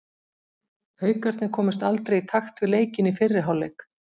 Haukarnir komust aldrei í takt við leikinn í fyrri hálfleik.